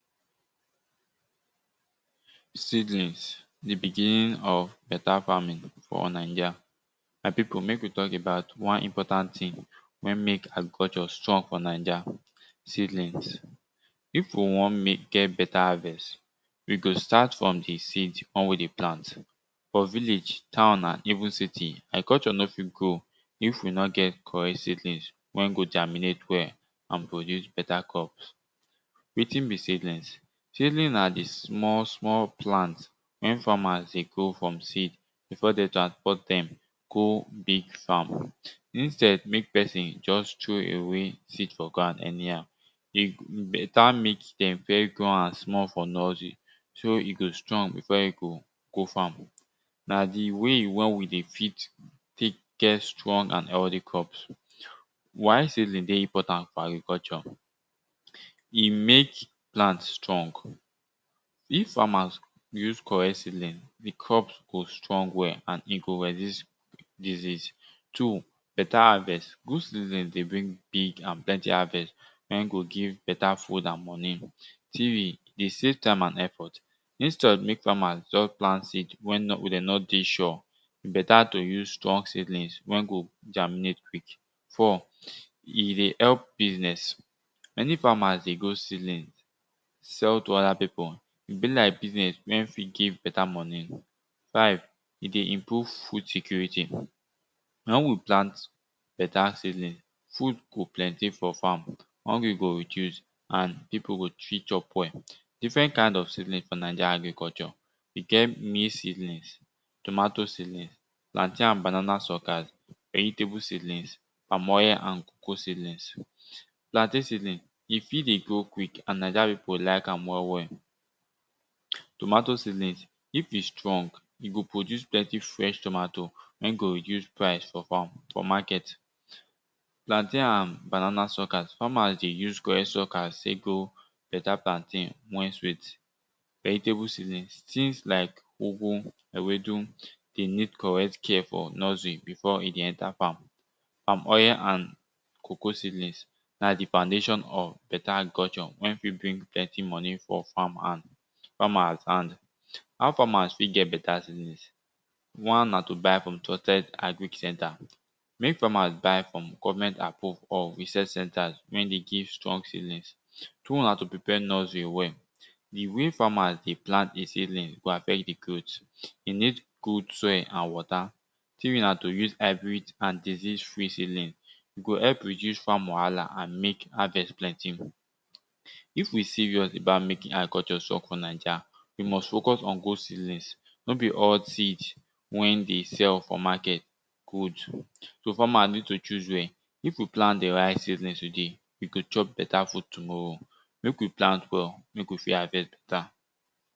Seedlings the beginning of beta farming for Naija my pipu mek we talk about wan important thing wen mek agriculture strong for naija seedlings. If we wan get beta harvest, we go start from the seed wen den plant for village, town and even city agriculture no fit grow if we no get correct seedlings wen go germinate well and produce beta crops. Wetin be seedlings? Seddlings na di small small plant wen farmers dey grow from seed before den transport dem go big farm. Instead mek pesin just throw away seed for grond anyhow e go beta mek dem first grow am small for nusery so e go strong before e go go farm na di way wen we dey fit take get strong and healthy crops. Why seedling dey important for agriculture? E mek plant strong. If farmers use correct seedlings, di crop go strong well and e go resist disease. Two, beta harvest. Good seedling the bring big beta harvest wen go give beta food and moni. Three, E dey safe time and effort. instead mek farmers just plant seed wen dem no dey sure e beta to use strong seedling germinate quick. Four e dey help to business, any farmers dey grow seedling sell to other pipu e be like business wen fit give beta moni. Five e dey improve food security, wen we plant beta seedlings, food go plenty for farm, hungry go reduce and pipu go fit chop well. Different kind of seedling for naija agriculture we get maize seedling, tomatoe seedling, plantain and banana suckers, vegetable seedlings, palm oil and cocoa seedings. Plantain seedling e fit dey grow quick na why pipu like am well well.? Tomatoe seedling, if e strong, e go produce plenty fresh tomatoe wen go reduce price of am for market. Plantain and banana suckers, farmers dey use correct suckers take grow plantain wen sweat. Vegetable seedlings things like ugwu, ewedu den need correct care for nursery before de go enter farm. Palm oil and cocao seedlings na di foundation of beta agriculture wen fit bring plenty moni for farmers hand. How farmers ft get beta seedlings? Wan na to buy from trusted agric center. Mek farmers buy from govennment approve or research centers wer the give strong seedlings. Two na to prepare nursery well. Di way farmrs dey plant dis seedlings go affect the growth. e need good soil and water. Three na to use hybrid and disease free seedling go help reduce farm wahala and mek harvest plenty. If we serioius about making agriculture strong for naija, we must focus on good seedlings. No be all seed were the sell for market good. So farmers need to choose well. If we plant di right seedlings, we go chop beta food tomorrow. Mek we plant well so dat we go fit harvest beta.